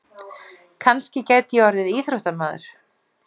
Kannski gæti ég orðið íþróttamaður.